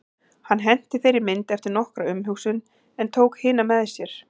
Hann henti þeirri mynd eftir nokkra umhugsun en tók hina með sér.